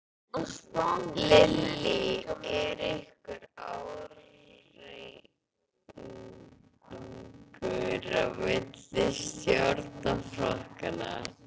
Lillý: Er einhver ágreiningur á milli stjórnarflokkanna?